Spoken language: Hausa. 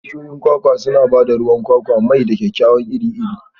Bishiyoyin kwakwa suna ba da ruwan kwakwa, mai, da kayayyaki iri-iri.